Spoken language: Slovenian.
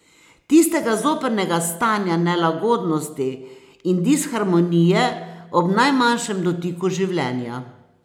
Tistega zoprnega stanja nelagodnosti in disharmonije ob najmanjšem dotiku življenja.